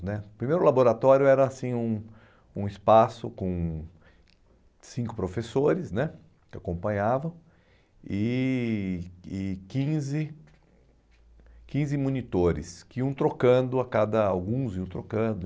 né o primeiro laboratório era um um espaço com cinco professores né que acompanhavam e e quinze quinze monitores que iam trocando a cada, alguns iam trocando.